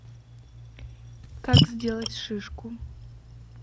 как сделать шишку